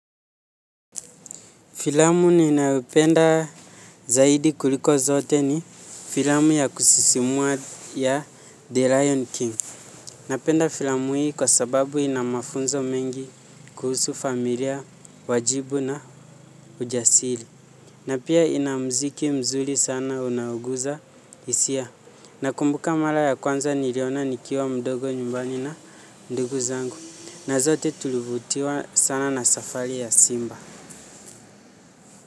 Filamu ninayoipenda zaidi kuliko zote ni filamu ya kusisimua ya the lion king. Napenda filamu hii kwa sababu inamafunzo mengi kuhusu familia, wajibu na ujasiri. Na pia ina mziki mzuri sana unauguza hisia. Nakumbuka mara ya kwanza niliona nikiwa mdogo nyumbani na ndugu zangu. Na zote tulivutiwa sana na safari ya simba.